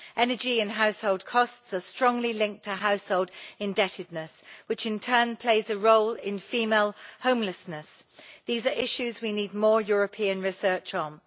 Energy and household costs are strongly linked to household indebtedness, which in turn plays a role in female homelessness. These are issues we need more European research on.